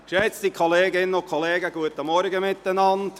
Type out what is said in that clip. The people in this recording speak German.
Geschätzte Kolleginnen und Kollegen, guten Morgen miteinander.